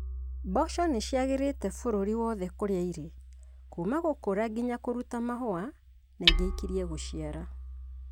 Mboco nĩciagĩrite bũrũri wothe kũria irĩ kuma g ũk ũra nginya kũruta mahũa na ingĩ ikirie gũciara